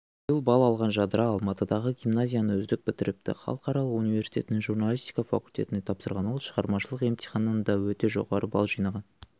биыл балл алған жадыра алматыдағы гимназияны үздік бітіріпті халықаралық университетінің журналистика факультетіне тапсырған ол шығармашылық емтиханнан да өте жоғары балл жинаған